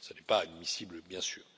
ce n'est pas admissible, bien sûr.